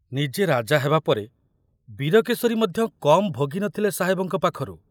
ନିଜେ ରାଜା ହେବା ପରେ ବୀରକେଶରୀ ମଧ୍ୟ କମ ଭୋଗି ନଥିଲେ ସାହେବଙ୍କ ପାଖରୁ।